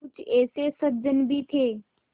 कुछ ऐसे सज्जन भी थे